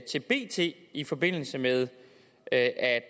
til bt i forbindelse med at